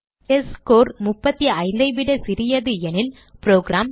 test score 35 ஐ விட சிறியது எனில் புரோகிராம்